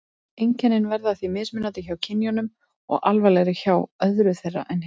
Einkennin verða því mismunandi hjá kynjunum og alvarlegri hjá öðru þeirra en hinu.